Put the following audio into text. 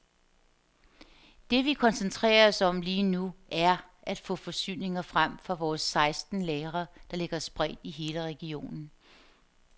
Det vi koncentrerer os om lige nu, er at få forsyninger frem fra vores seksten lagre, der ligger spredt i hele regionen.